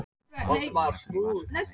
Tvær bílveltur í Vatnsskarði